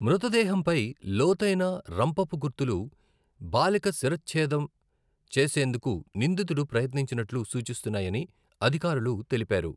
మృతదేహంపై లోతైన రంపపు గుర్తులు బాలిక శిరచ్ఛేదం చేసేందుకు నిందితుడు ప్రయత్నించినట్లు సూచిస్తున్నాయని అధికారులు తెలిపారు.